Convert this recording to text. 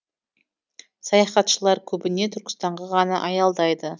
саяхатшылар көбіне түркістанға ғана аялдайды